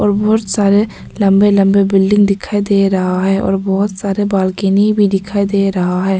और बहोत सारे लंबे लंबे बिल्डिंग दिखाई दे रहा है और बहोत सारे बालकनी भी दिखाई दे रहा है।